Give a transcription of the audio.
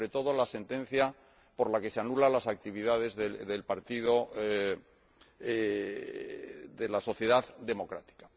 y, sobre todo, la sentencia por la que se anulan las actividades del Partido de la Sociedad Democrática.